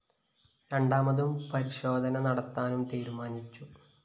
രണ്ടാമതും പരിശോധന നടത്താനും തീരുമാനിച്ചു